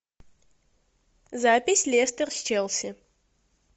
запись лестер с челси